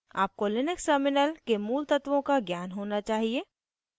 आपको Linux terminal के मूल तत्वों का ज्ञान होना चाहिए